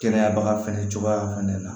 Kɛnɛya baga fɛnɛ cogoya fɛnɛ na